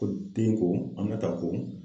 Ko den ko Aminata ko